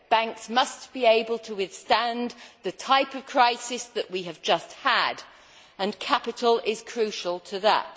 Banks must be able to withstand the type of crisis that we have just had and capital is crucial to that.